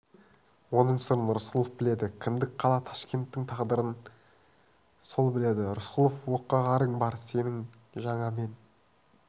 оның сырын рысқұлов біледі кіндік қала ташкенттің тағдырын сол біледі рысқұлов оққағарың бар сенің жаңа мен